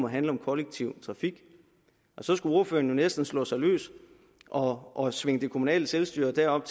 handle om kollektiv trafik så skulle ordføreren jo næsten slå sig løs og og svinge det kommunale selvstyre derop